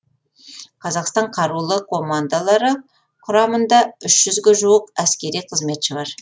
қазақстан қарулы командалары құрамында үш жүзге жуық әскери қызметші бар